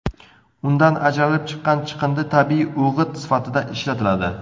Undan ajralib chiqqan chiqindi tabiiy o‘g‘it sifatida ishlatiladi.